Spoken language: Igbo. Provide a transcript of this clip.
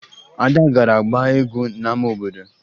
Ada gara gbaa egwu n'ama obodo